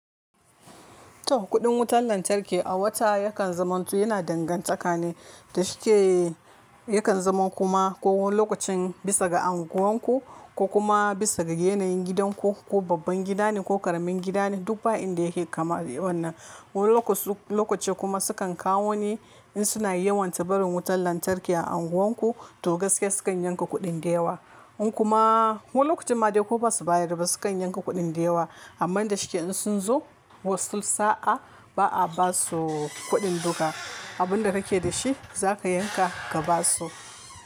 To kuɗin wutar lantarki a wata yakan zamantu yana dangantaka ne da shike yakan zama kuma ko wani lokacin bisa ga anguwan ku ko kuma bisa ga yanayin gidanku ko babban gida ne ko ƙaramin gida ne duk ba inda yake kaman wannan. Wani lokaci kuma sukan kawo ne in suna yawan ta barin wutan lantarki a anguwan ku to gaskiya sukan yanka kuɗin da yawa. In kuma wani lokacin ma dai ko ba su bayar ba sukan yanka kuɗin da yawa. Amman da shike in sun zo wasu sa'a ba a ba su kuɗin duka. Abin da kake da shi za ka yanka ka ba su.